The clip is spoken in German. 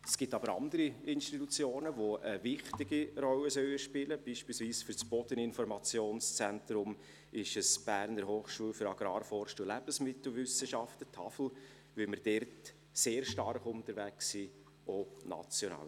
es gibt aber andere Institutionen, die eine wichtige Rolle spielen sollen, beispielsweise ist es für das Bodeninformationszentrum die HAFL, wo wir sehr stark unterwegs sind, auch national.